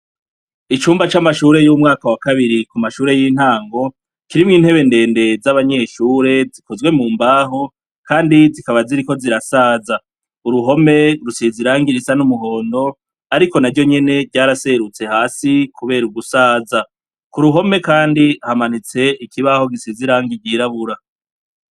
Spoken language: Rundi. Icumba camashure yumwaka wakabiri kumashure yintango kirimwo intebe ndende zabanyeshure zikozwe mumbaho kandi zikaba ziriko zirasaza uruhome rusize irangi risa numuhondo ariko naryonyene ryaraserutse hasi kubera gusaza kuruhome kandi hamanitse ikibaho gisize irangi ryirabura